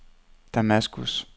Damaskus